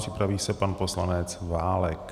Připraví se pan poslanec Válek.